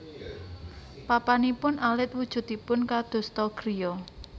Papanipun alit wujudipun kadosta griya